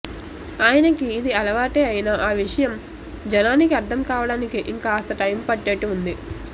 ఆయనకి ఇది అలవాటే అయినా ఆ విషయం జనానికి అర్ధం కావడానికి ఇంకాస్త టైం పట్టేట్టు వుంది